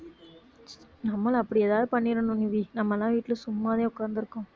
நம்மளும் அப்படி ஏதாவது பண்ணிடனும் நிவி நம்மலாம் வீட்டுல சும்மாவே உட்கார்ந்திருக்கோம்